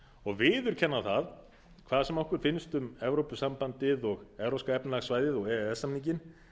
og viðurkenna það hvað sem okkur finnst um evrópusambandið og evrópska efnahagssvæðið og e e s samninginn